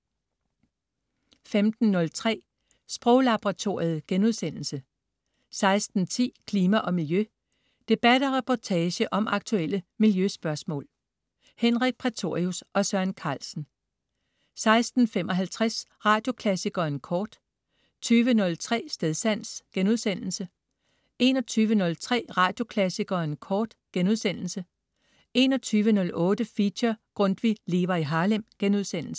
15.03 Sproglaboratoriet* 16.10 Klima og Miljø. Debat og reportage om aktuelle miljøspørgsmål. Henrik Prætorius og Søren Carlsen 16.55 Radioklassikeren Kort 20.03 Stedsans* 21.03 Radioklassikeren Kort* 21.08 Feature: Grundtvig lever i Harlem*